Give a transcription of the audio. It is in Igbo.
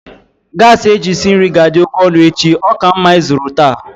gasi eji esi nri ga-adị oke ọnụ echi, ọ ka mma ịzụrụ taa